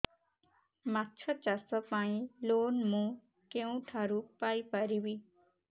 ମାଛ ଚାଷ ପାଇଁ ଲୋନ୍ ମୁଁ କେଉଁଠାରୁ ପାଇପାରିବି